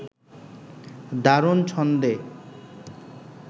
দারুণ ছন্দে